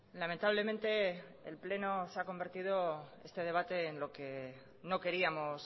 lamentablemente el pleno se ha convertido este debate en lo que no queríamos